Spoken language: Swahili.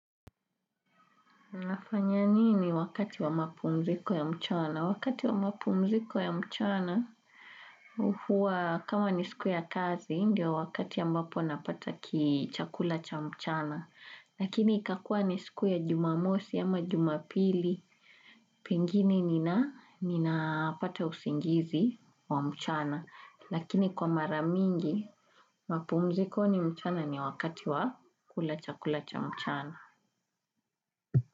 Nafanya nini wakati wa mapumziko ya mchana. Wakati wa mapumziko ya mchana, huwa kama ni siku ya kazi, ndio wakati ambapo napata ki chakula cha mchana. Lakini ikakua ni siku ya jumamosi ama jumapili, pengine ninapata usingizi wa mchana. Lakini kwa mara mingi, mapumzikoni mchana ni wakati wa kula chakula cha mchana.